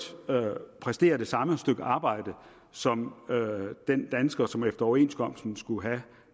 præsterer det samme stykke arbejde som den dansker som efter overenskomsten skulle have